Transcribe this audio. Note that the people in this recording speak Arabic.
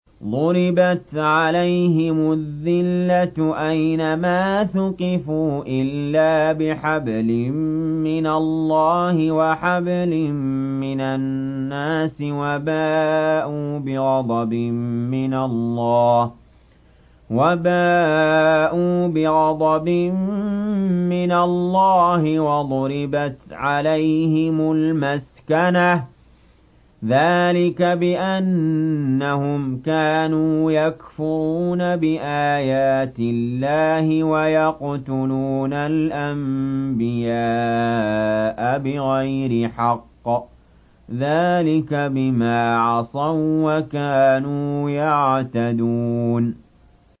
ضُرِبَتْ عَلَيْهِمُ الذِّلَّةُ أَيْنَ مَا ثُقِفُوا إِلَّا بِحَبْلٍ مِّنَ اللَّهِ وَحَبْلٍ مِّنَ النَّاسِ وَبَاءُوا بِغَضَبٍ مِّنَ اللَّهِ وَضُرِبَتْ عَلَيْهِمُ الْمَسْكَنَةُ ۚ ذَٰلِكَ بِأَنَّهُمْ كَانُوا يَكْفُرُونَ بِآيَاتِ اللَّهِ وَيَقْتُلُونَ الْأَنبِيَاءَ بِغَيْرِ حَقٍّ ۚ ذَٰلِكَ بِمَا عَصَوا وَّكَانُوا يَعْتَدُونَ